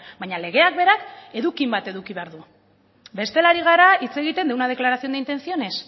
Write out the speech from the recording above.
baina legeak berak edukin bat eduki behar du bestela ari gara hitz egiten de una declaración de intenciones